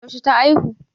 Yaushe ta aihu?